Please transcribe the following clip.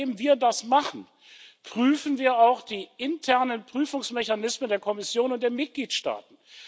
Denn seitdem wir das machen, prüfen wir auch die internen Prüfungsmechanismen der Kommission und der Mitgliedstaaten.